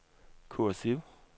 kursiv